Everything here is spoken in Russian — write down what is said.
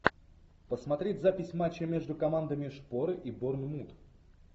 посмотреть запись матча между командами шпоры и борнмут